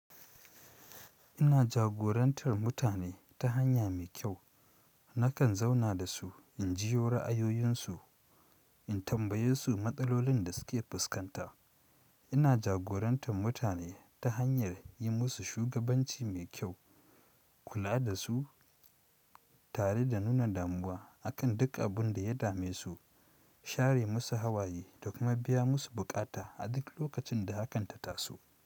Ina jagorantar mutane ta hanya mai kyau. Nakan zauna da su, in jiyo ra'ayoyinsu, in tambaye su matsalolin da suke fuskanta. Ina jagorantar mutane ta hanyar yi musu shugabanci mai kyau, kula da su tare da nuna damuwa a kan duk abin da ya dame su, share musu hawaye da kuma biya musu buƙata a duk lokacin da hakan ta taso.